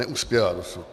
Neuspěla dosud.